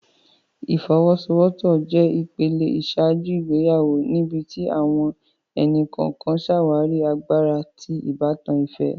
Ifowosowopo jé ìpele iṣaaju ìgbéyàwó níbití àwọn ẹni-kọọkan ṣàwarí àgbàrá ti ìbátan ìfẹ